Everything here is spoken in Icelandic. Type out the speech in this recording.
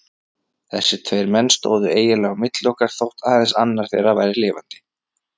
Þessir tveir menn stóðu eiginlega á milli okkar þótt aðeins annar þeirra væri lifandi.